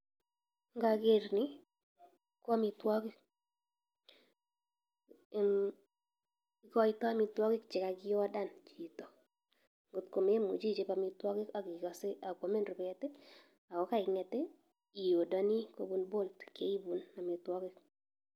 Ngoker ni ko amitwogik, ikoitoi amitwogik chekakiodan chito ,kotkomemuche ichop amitwogik akikose kakwamin rubet ako keing'et iodoni kobun bolt akeibun amitwogik.